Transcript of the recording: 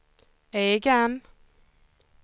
egen